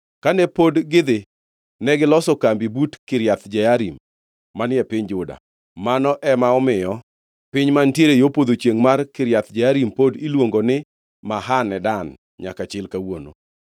Kane pod gidhi negiloso kambi but Kiriath Jearim manie piny Juda. Mano ema omiyo piny mantiere yo podho chiengʼ mar Kiriath Jearim pod iluongo ni Mahane Dan nyaka chil kawuono.